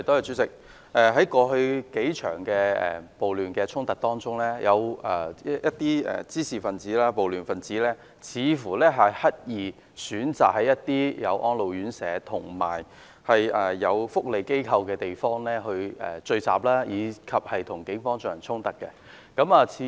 主席，在過去數場暴亂衝突中，有一些滋事、暴亂分子似乎刻意選擇在設有安老院舍和社福機構的地方聚集，並與警方發生衝突。